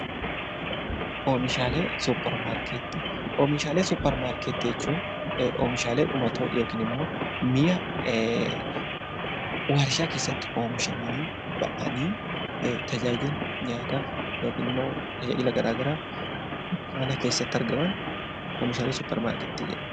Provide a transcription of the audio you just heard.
Oomishaalee suuparmaarkeetii jechuun oomishaalee dhumatoo mi'a warshaa keessatti oomishamanii bahanii tajaajila nyaataaf yookaan tajaajila garaagaraaf kan gabaa keessatti argamanidha.